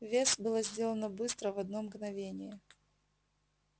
вес было сделано быстро в одно мгновение